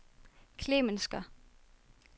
Klemensker